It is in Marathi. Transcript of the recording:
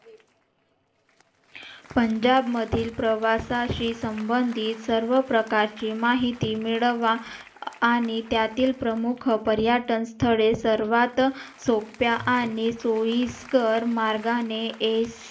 पंजाब मधील प्रवासाशी संबंधित सर्व प्रकारची माहिती मिळवा आणि त्यातील प्रमुख पर्यटन स्थळे सर्वात सोप्या आणि सोयीस्कर मार्गाने